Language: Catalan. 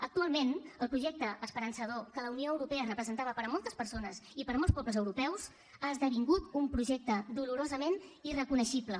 actualment el projecte esperançador que la unió europea representava per a moltes persones i per a molts pobles europeus ha esdevingut un projecte dolorosament irreconeixible